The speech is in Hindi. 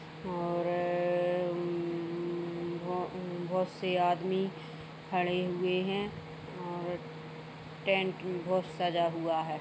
और रर्रर्रर उम्म्म्म्म बहो बहुत से आदमी खड़े हुए है और टेंट बहुत सजा हुआ हैं।